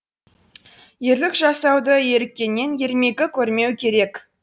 ерлік жасауды еріккеннен ермегі көрмеу керек